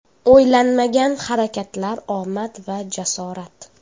O‘ylanmagan harakatlar, omad va jasorat.